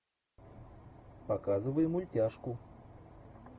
показывай мультяшку